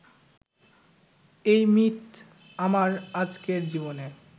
এই মিথ আমার আজকের জীবনে